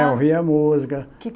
É, ouvia música. Que